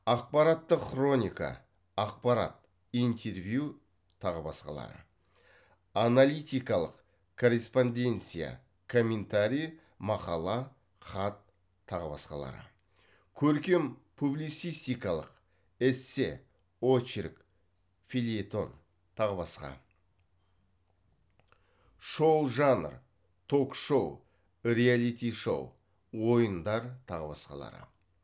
ақпараттық хроника ақпарат интервью тағы басқалары аналитикалық корреспонденция комментарий мақала хат тағы басқалары көркем публицистикалық эссе очерк фельетон тағы басқа шоу жанр ток шоу реалити шоу ойындар тағы басқалары